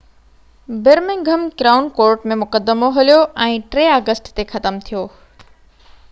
Birmingham Crown Court ۾ مقدمو هليو ۽ 3 August تي ختم ٿيو